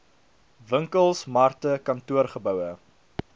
winkels markte kantoorgeboue